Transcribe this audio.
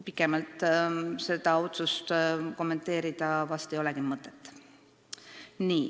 Pikemalt seda kommenteerida vast ei olegi mõtet.